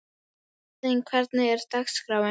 Héðinn, hvernig er dagskráin?